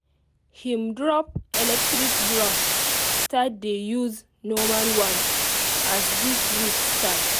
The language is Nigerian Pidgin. him drop electric brush start dey use normal one as this week start